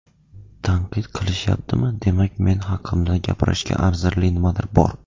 Tanqid qilishyaptimi, demak men haqimda gapirishga arzirli nimadir bor.